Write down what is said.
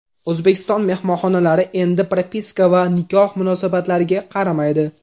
O‘zbekiston mehmonxonalari endi propiska va nikoh munosabatlariga qaramaydi.